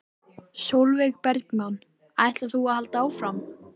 Sólveig Bergmann: Ætlar þú að halda áfram?